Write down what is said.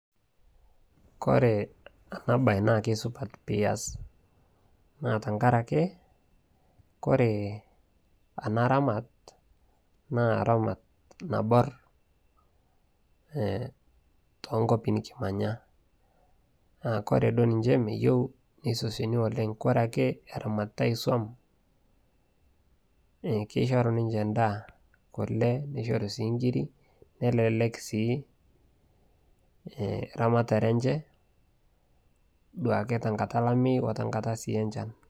Kore enabaye naake supat piias naa tengarake kore enaramat naa ramat naborr eh tonkuapi nikimanya naa kore duo ninche meyou neisosioni oleng' kore ake eramatitai isuam eh keishoru ninche endaa, kole neishoru sii nkiri nelelek sii eeramatare enche duake tenkata olameyu o tenkata sii enchan.